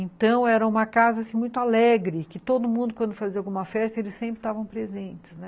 Então, era uma casa, assim, muito alegre, que todo mundo, quando fazia alguma festa, eles sempre estavam presentes, né?